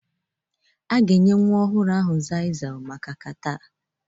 A ga-enye nwa ọhụrụ Xyzal maka catarh